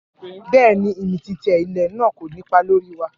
Bẹ́ẹ̀ ni, ìmìtìtì ilẹ̀ náà kò nípa lórí wa